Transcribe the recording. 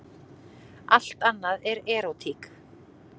Allt annað er erótík.